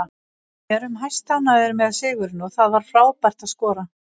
Við erum hæstánægðir með sigurinn og það var frábært að skora.